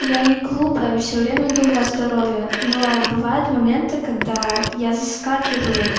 я не глупая всё время думаю о здоровье но бывают моменты когда я заскакиваю